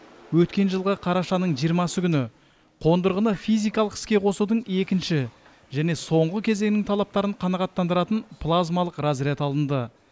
өткен жылғы қарашаның жиырмасы күні қондырғыны физикалық іске қосудың екінші және соңғы кезеңінің талаптарын қанағаттандыратын плазмалық разряд алынды